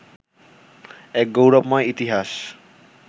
এক গৌরবময় ইতিহাস